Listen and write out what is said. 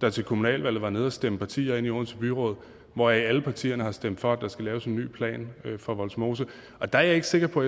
der til kommunalvalget var nede at stemme partier ind i odense byråd hvoraf alle partierne har stemt for at der skal laves en ny plan for vollsmose og der er jeg ikke sikker på